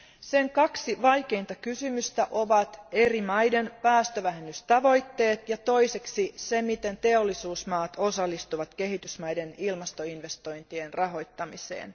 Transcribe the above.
Sen kaksi vaikeinta kysymystä ovat eri maiden päästövähennystavoitteet ja se, miten teollisuusmaat osallistuvat kehitysmaiden ilmastoinvestointien rahoittamiseen.